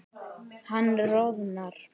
Hann roðnar.